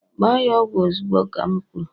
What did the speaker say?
Gba ya ogwu ozugbo ka'm kwuru!